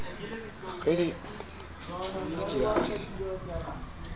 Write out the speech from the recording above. kgele ha ke a le